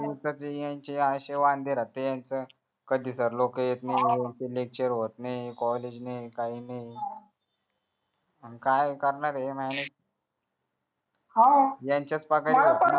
कधी sir लोक येत नाही lectur होत नाहि collage नई काय नई काय करणार ए हान यांच्याच